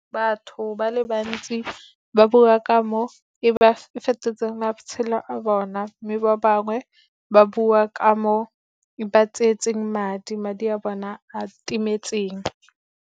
Batho ba le bantsi ba bua ka mo e fetotseng matshelo a bona, mme ba bangwe ba bua ka mo e ba tsietseng madi, madi a bona a timetseng.